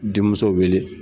Denmuso wele.